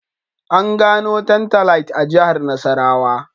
An gano Tantalite a Jihar Nasarawa